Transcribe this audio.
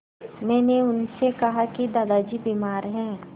मैंने उनसे कहा कि दादाजी बीमार हैं